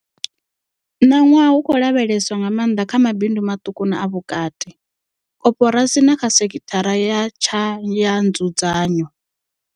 Ṋaṅwaha hu khou lavheleswa nga maanḓa kha mabindu maṱuku na a vhukati, koporasi na kha sekithara ya tshayanzudzanyo.